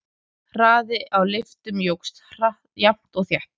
Hraði á lyftum jókst jafnt og þétt.